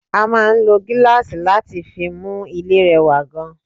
A máa ń lò gíláàsì láti fi mú ilé rẹwà gan